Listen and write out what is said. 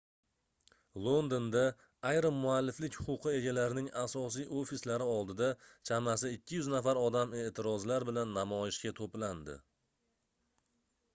londonda ayrim mualliflik huquqi egalarining asosiy ofislari oldida chamasi 200 nafar odam eʼtirozlar bilan namoyishga toʻplandi